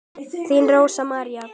Þín Rósa María.